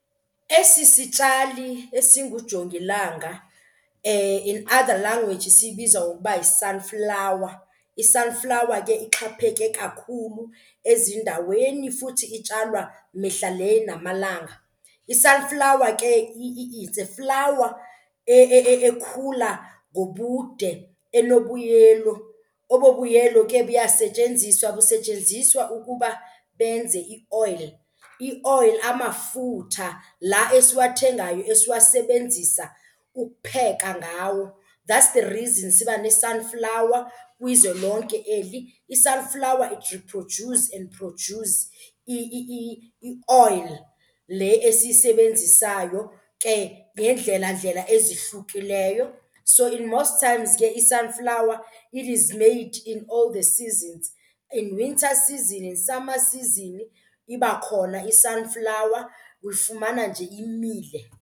Esi sitshali esingujongilanga in other language siyibiza ngokuba yi-sunflower. I-sunflower ke ixhaphake kakhulu ezindaweni futhi itshalwa mihla le namalanga. I-sunflower ke is a flower ekhula ngobude enobuyelo. Obo buyelo ke buyasetyenziswa busetyenziswa ukuba benze i-oil, i-oil amafutha la esiwathengayo esiwasebenzisa ukupheka ngawo. That's the reason siba ne-sunflower kwizwe lonke eli. I-sunflower it reproduce and produce i-oil le esiyisebenzisayo ke ngeendlelandlela ezihlukileyo. So in most times ke i-sunflower it is made in all the seasons, in winter season in summer season iba khona i-sunflower, uyifumana nje imile.